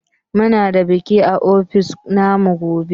Muna da biki a ofis na mu gobe.